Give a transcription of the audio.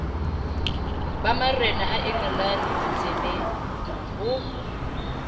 ba marena a engelane ditsebengho